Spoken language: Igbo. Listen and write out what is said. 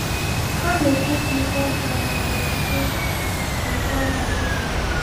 Ha na-echefu ihe ọjọọ na-abịa site n’ụkpa mmụọ.